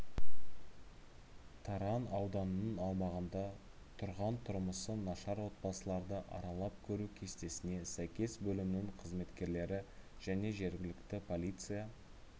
таран ауданының аумағында тұрған тұрмысы нашар отбасыларды аралап көру кестесіне сәйкес бөлімінің қызметкерлері және жергілікті полиция